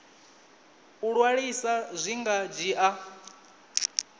u ṅwalisa zwi nga dzhia